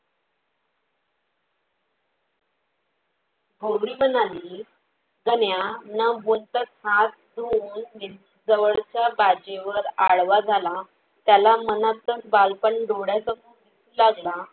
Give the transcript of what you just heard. गौरी म्हणाली, गण्या नं बोलताच हात धुवून नि जवळच्या बाजेवर आळवा झाला. त्याला मनतच बालपण डोळा समोर दिसू लागला.